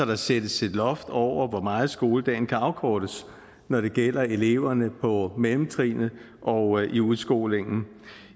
der sættes et loft over hvor meget skoledagen kan afkortes når det gælder eleverne på mellemtrinnet og i udskolingen